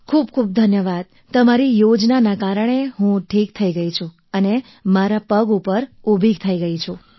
ખૂબખૂબ ધન્યવાદ તમારી યોજનાના કારણે હું ઠીક થઈ ગઈ અને હું મારા પગ ઉપર થઈ ગયી છું